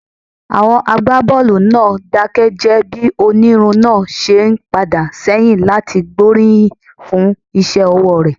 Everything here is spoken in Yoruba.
Àwọn agbábọ́ọ̀lù náà dákẹ́ jẹ́ẹ́ bí onírun náà ṣe ń padà sẹ́yìn láti gbóríyìn fún iṣẹ́ ọwọ́ rẹ̀.